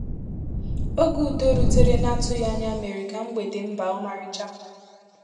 Ógé ùdò rútèrè n’atụghị anya méèrè ka mgbèdè m baa ọ́márícha.